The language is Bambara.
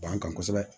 Ban kan kosɛbɛ